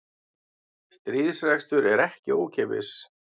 Stríðsrekstur er ekki ókeypis